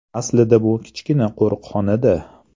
“Aslida bu kichkina qo‘riqxonada.